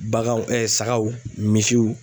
Baganw sagaw misiw.